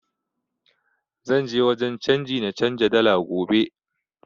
Zan je wajen canji na canza dala gobe